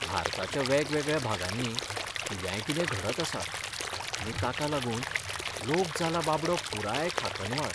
भारताच्या वेगवेगळ्या भागांनी कित्यायकितें घडत आसा आनी ताका लागून लोक जाला बाबडो पुराय खाकनवाळ!